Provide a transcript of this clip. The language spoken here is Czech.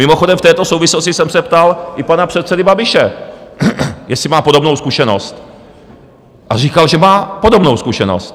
Mimochodem, v této souvislosti jsem se ptal i pana předsedy Babiše, jestli má podobnou zkušenost, a říkal, že má podobnou zkušenost.